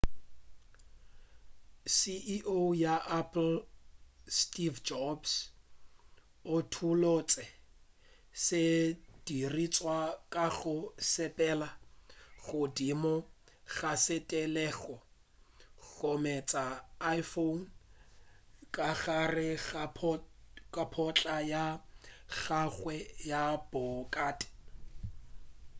ceo ya apple steve jobs o utullotše sedirišwa ka go sepela godimo ga sethaleng gomme a ntša iphone ka gare ga potla ya gagwe ya bhokate